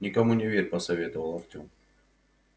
никому не верь посоветовал артем